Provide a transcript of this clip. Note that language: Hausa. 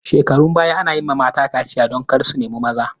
Shekarun baya ana yi wa mata kaciya don kar su nemi maza